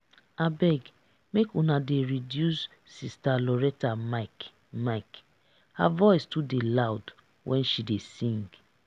abeg make una dey reduce sister loretta mic mic her voice too dey loud when she dey sing